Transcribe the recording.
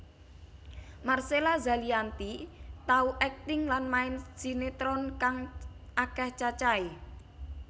Marcella Zalianty tau akting lan main sinetron kang akéh cacahé